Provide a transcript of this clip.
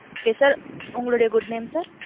Yes sir. உங்களுடைய good name sir?